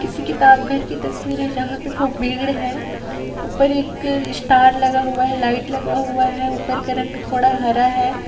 किसी किताब घर की तस्वीर है जहां पे खुब भीड़ है ऊपर एक स्टार लगा हुआ है लाइट लगा हुआ है ऊपर का रंग हरा है।